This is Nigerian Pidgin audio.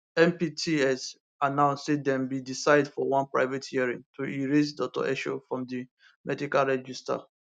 mpts announce say dem bin decide for one private hearing to erase dr esho from di medical register